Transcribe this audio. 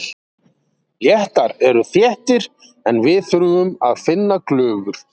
Lettar eru þéttir en við þurfum að finna glufur.